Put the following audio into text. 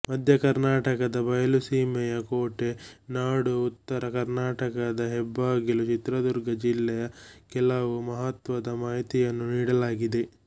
ಮಧ್ಯ ಕರ್ನಾಟಕದ ಬಯಲು ಸೀಮೆಯ ಕೋಟೆ ನಾಡು ಉತ್ತರ ಕರ್ನಾಟಕದ ಹೆಬ್ಬಾಗಿಲು ಚಿತ್ರದುರ್ಗ ಜಿಲ್ಲೆಯ ಕೆಲವು ಮಹತ್ವದ ಮಾಹಿತಿಯನ್ನು ನೀಡಲಾಗಿದೆ